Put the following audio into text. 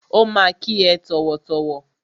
Ó ma kí ẹ tọ̀wọ̀tọ̀wọ̀.